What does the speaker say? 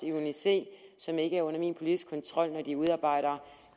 af uni c som ikke er under min politiske kontrol når de udarbejder